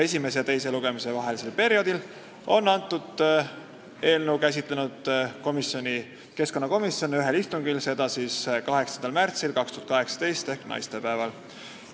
Esimese ja teise lugemise vahelisel perioodil on keskkonnakomisjon eelnõu käsitlenud ühel istungil, mis toimus 8. märtsil ehk naistepäeval.